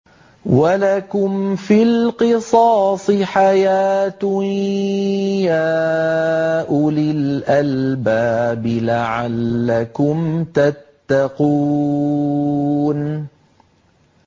وَلَكُمْ فِي الْقِصَاصِ حَيَاةٌ يَا أُولِي الْأَلْبَابِ لَعَلَّكُمْ تَتَّقُونَ